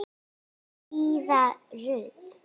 Fríða Rut.